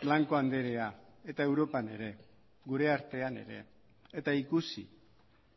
blanco andrea eta europan ere gure artean ere eta ikusi